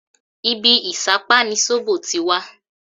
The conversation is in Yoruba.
Ibí ìṣápá ni sóbò ti wá